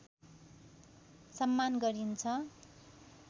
सम्मान गरिन्छ।